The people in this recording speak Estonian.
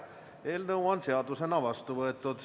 Eelnõu on seadusena vastu võetud.